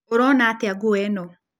Ũrona atĩa nguo ĩno?